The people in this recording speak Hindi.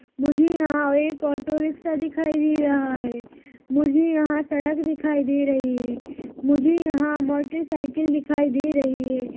मुझे यहाँ एक ऑटोरिक्शा दिखाई दे रहा है मुझे यहाँ सड़क दिखाई दे रही है मुझे यहाँ मोटरसाइकिल दिखाई दे रही है।